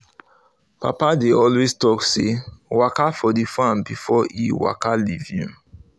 papa dey always talk say "waka for the farm before e waka leave you"